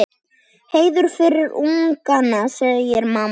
Hreiður fyrir ungana, segir mamma.